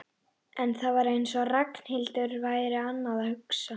En það var eins og Ragnhildur væri annað að hugsa.